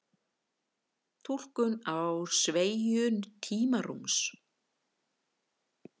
túlkun á sveigju tímarúms